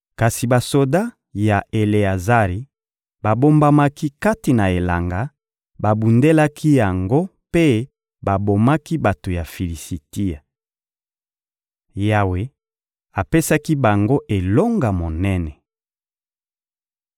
Kasi basoda ya Eleazari babombamaki kati na elanga, babundelaki yango mpe babomaki bato ya Filisitia. Yawe apesaki bango elonga monene.